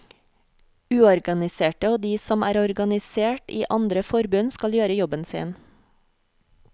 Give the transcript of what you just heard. Uorganiserte og de som er organisert i andre forbund skal gjøre jobben sin.